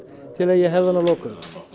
til að ég hefði hann að lokum